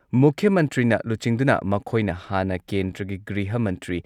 ꯃꯨꯈ꯭ꯌ ꯃꯟꯇ꯭ꯔꯤꯅ ꯂꯨꯆꯤꯡꯗꯨꯅ ꯃꯈꯣꯏꯅ ꯍꯥꯟꯅ ꯀꯦꯟꯗ꯭ꯔꯒꯤ ꯒ꯭ꯔꯤꯍ ꯃꯟꯇ꯭ꯔꯤ,